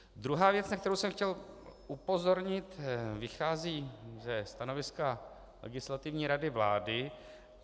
Druhá věc, na kterou jsem chtěl upozornit, vychází ze stanoviska Legislativní rady vlády.